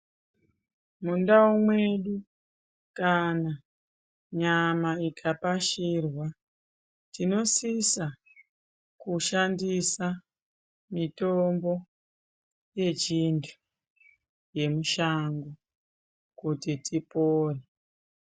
Mundau mwedu kana nyama ikapashirwa tinosisa kushandise mitombo Yechintu yemushango kuti tipore.